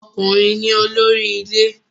Ọkùnrin ni olórí ilé